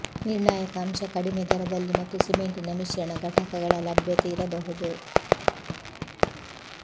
ನಿರ್ಣಾಯಕ ಅಂಶ ಕಡಿಮೆ ದರದಲ್ಲಿ ಮತ್ತು ಸಿಮೆಂಟಿನ ಮಿಶ್ರಣ ಘಟಕಗಳ ಲಭ್ಯತೆ ಇರಬಹುದು